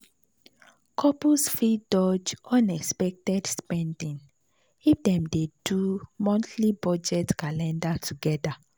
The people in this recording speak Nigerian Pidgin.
couples fit dodge unexpected spending if dem dey do monthly budget calendar together.